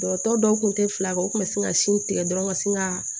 Dɔgɔtɔrɔ dɔw tun tɛ fila kɛ u kun bɛ sin ka sin tigɛ dɔrɔn ka sin ka